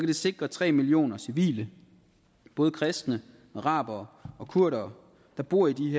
det sikre tre millioner civile både kristne arabere og kurdere der bor i